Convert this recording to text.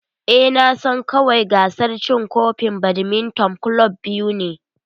Eh, Na san kawai gasar cin kofin badminton club biyu ne.